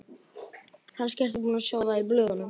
Kannski ertu búinn að sjá það í blöðunum.